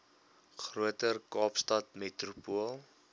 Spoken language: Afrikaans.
groter kaapstad metropool